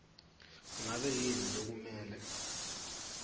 ngabe yini lokumele